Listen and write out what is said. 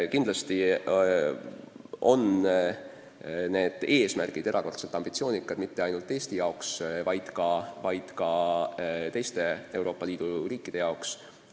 Kindlasti on kõnealused näitajad erakordselt ambitsioonikad mitte ainult Eesti jaoks, vaid ka teiste Euroopa Liidu riikide jaoks.